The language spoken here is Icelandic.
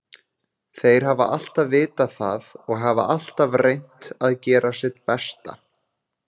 Þeir hafa alltaf vitað það og hafa alltaf reynt að gera sitt besta.